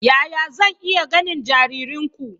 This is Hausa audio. Yaya zan iya ganin jaririnku?